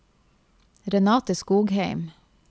Renate Skogheim